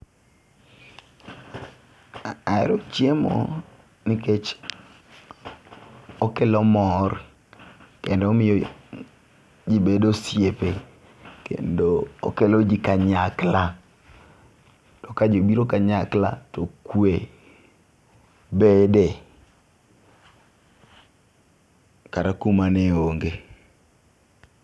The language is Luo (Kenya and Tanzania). Ahero chiemo nikech okelo mor kendo omiyo jii bedo osiepe kendo okelo jii kanyakla. To ka jii biro kanyakla to kwe bede kata kuma ne onge.